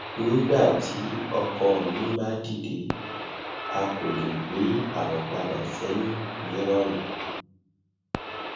nigbati oko mi ba dide a ko le gbe awọ pada sẹhin ni irọrun